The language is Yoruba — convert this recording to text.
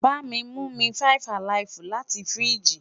bami mu mi 5 alive lati firiji